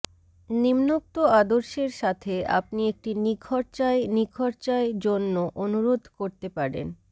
নিম্নোক্ত আদর্শের সাথে আপনি একটি নিখরচায় নিখরচায় জন্য অনুরোধ করতে পারেন